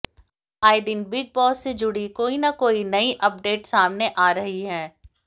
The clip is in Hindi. आए दिन बिग बॅास से जुड़ी कोई ना कोई नई अपडेट सामने आ रही है